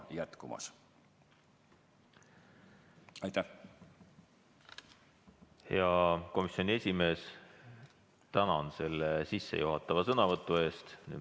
Hea komisjoni esimees, tänan selle sissejuhatava sõnavõtu eest!